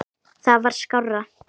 Það var skárra.